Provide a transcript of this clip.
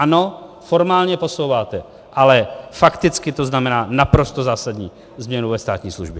Ano, formálně posouváte, ale fakticky to znamená naprosto zásadní změnu ve státní službě.